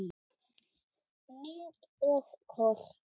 Mynd og kort